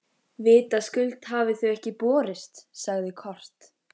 Þar var ég stundum látin skoða klámblöð.